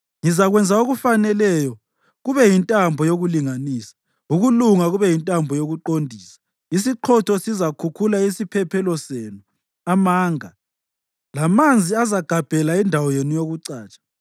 Ngizakwenza okufaneleyo kube yintambo yokulinganisa, ukulunga kube yintambo yokuqondisa; isiqhotho sizakhukhula isiphephelo senu, amanga, lamanzi azagabhela indawo yenu yokucatsha.